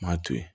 Maa to yen